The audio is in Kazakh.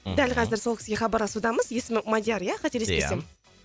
мхм дәл қазір сол кісіге хабарласудамыз есімі мадияр ия қателеспесем ия